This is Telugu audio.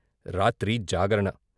రాత్రి జాగరణ.